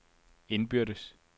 indbyrdes